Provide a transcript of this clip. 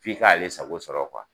F'i k'ale sago sɔrɔ